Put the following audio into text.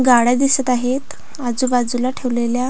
गाड्या दिसत आहेत आजूबाजूला ठेवलेल्या--